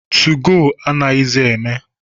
2go anaghịzi eme.